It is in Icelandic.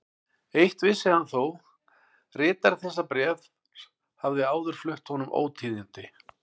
Eitt vissi hann þó: ritari þessa bréfs hafði áður flutt honum ótíðindi.